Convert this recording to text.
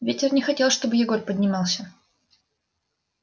ветер не хотел чтобы егор поднимался